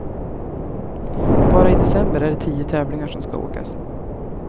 Bara i december är det tio tävlingar som ska åkas.